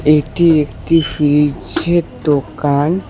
এটি একটি ফ্রিজের দোকান।